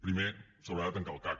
primer s’haurà de tancar el cac